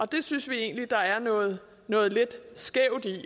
det synes vi egentlig der er noget noget lidt skævt i det